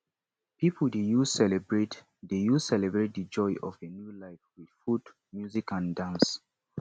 pipo dey use celebrate dey use celebrate di joy of new life with food music and dance